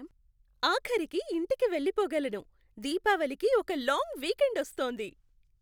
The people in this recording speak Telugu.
ఆఖరికి ఇంటికి వెళ్ళిపోగలను.దీపావళికి ఒక లాంగ్ వీకెండ్ వస్తోంది.